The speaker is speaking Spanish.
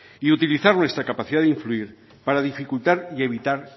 y utilizar nuestra capacidad de influir para dificultar y evitar